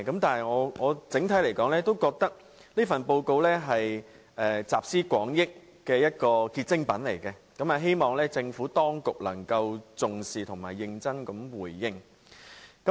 但是，整體來說，我覺得這份報告是一份集思廣益的結晶品，希望政府當局能夠重視和認真回應。